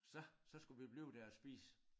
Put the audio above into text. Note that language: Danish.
Så så skulle vi blive der og spise